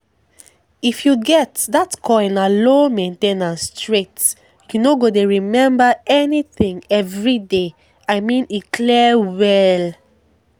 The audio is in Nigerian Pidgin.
if you get that coil na low main ten ance straight — you no go dey remember anything every day i mean e clear well